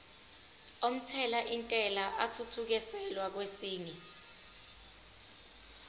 omthelintela athuthukiselwa kwesinye